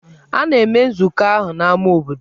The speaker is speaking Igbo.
A na-eme nzukọ ahụ n'ámá obodo.